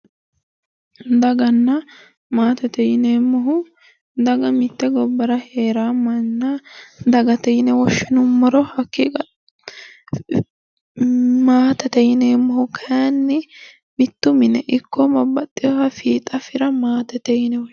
Daganna maatete yineemmohu, daga mitte gobbara heeraa manna dagate yine woshshinumoro. maatete yineemmohu kayiinni mitto mine ikko babbaxxewooha fiixa fira maatete yine woshshinanni.